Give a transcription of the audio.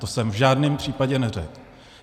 To jsem v žádném případě neřekl.